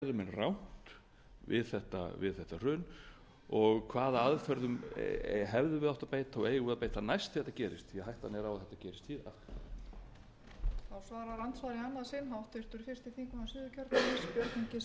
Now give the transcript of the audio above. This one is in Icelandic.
frú forseti mikil ósköp út á það gengur þessi umræða og umræða næstu mánaða hvað við getum lært af því ástandi sem hérna skapaðist í fyrrahaust það er